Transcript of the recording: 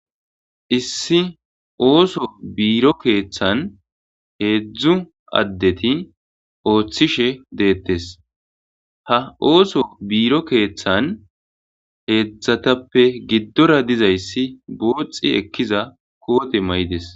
Issi ooso biiro keeththan hedzdzu addeti ooththishe deetees; ha ooso biiro keeththan hedzdzatappe giddora dizayssi guuxi ekkiza koote mayides.